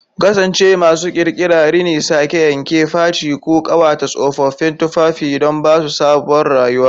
Ku kasance masu ƙirƙira! Rini, sake-yanke, faci, ko ƙawata tsofaffin tufafi don ba su sabuwar rayuwa.